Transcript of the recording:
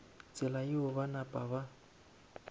tsela yeo ba napa ba